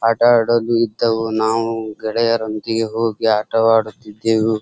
ಆಟ ಆಡಲು ಇದ್ದವು ನಾವು ಗೆಳೆಯರೊಂದಿಗೆ ಹೋಗಿ ಆಟ ಆಡುತ್ತಿದ್ದೆವು.